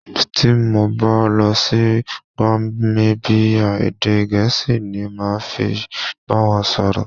Tí mo bá lọ sí Gamíbíyà, èdè Gẹ̀ẹ́sì ni màá fi bá wọn sọ̀rọ̀.